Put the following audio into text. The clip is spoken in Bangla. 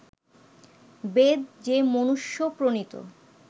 বেদ যে মনুষ্য-প্রণীত